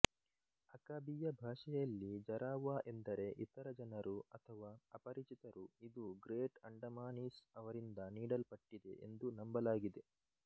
ಅಕಾಬೀಯಾ ಭಾಷೆಯಲ್ಲಿ ಜರಾವಾ ಎಂದರೆ ಇತರ ಜನರು ಅಥವಾ ಅಪರಿಚಿತರು ಇದು ಗ್ರೇಟ್ ಅಂಡಮಾನೀಸ್ ಅವರಿಂದ ನೀಡಲ್ಪಟ್ಟಿದೆ ಎಂದು ನಂಬಲಾಗಿದೆ